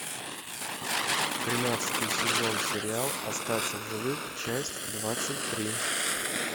тринадцатый сезон сериал остаться в живых часть двадцать три